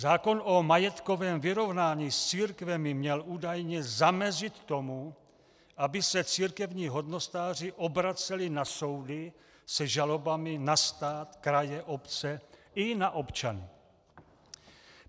Zákon o majetkovém vyrovnání s církvemi měl údajně zamezit tomu, aby se církevní hodnostáři obraceli na soudy se žalobami na stát, kraje, obce i na občany.